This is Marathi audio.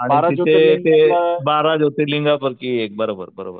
आणि तिथे ते बारा ज्योतिर्लिंग पैकी एक बरोबर बरोबर.